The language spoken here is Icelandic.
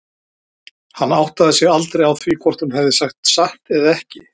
Hann áttaði sig aldrei á því hvort hún hefði sagt satt eða ekki.